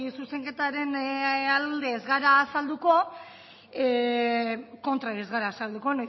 zuzenketaren alde ez gara azalduko kontra ere ez gara azalduko